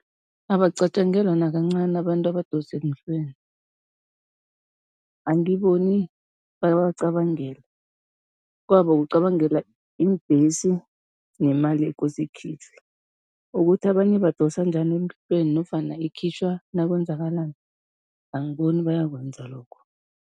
Abacatjangelwa nakancani abantu abadosa emhlweni, angiboni bayabacabangela, kwabo kucabangela iimbhesi nemali ekose ikhitjhwe, ukuthi abanye badosa njani emhlabeni nofana ikhitjhwa nakwenzekalani, angiboni bayakwenza lokho.